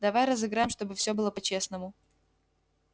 давай разыграем чтобы всё было по-честному